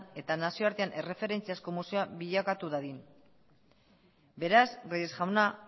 eta nazioartean erreferentziazko museoa bilakatu dadin beraz reyes jauna